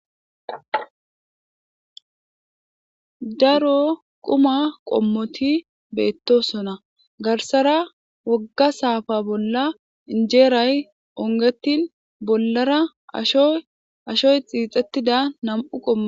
Daaro quuma qommoti bettosonna garssara wooga saffa bolla injjeray hiixettin bollara ashshoy dess.